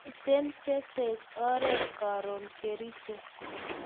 Miten che tech oret karun Kericho